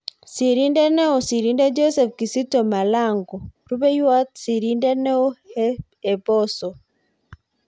Sirindet neoo-Sirindet Joseph Kizito Malongo. Rupeiywot Sirindet neoo- hephoso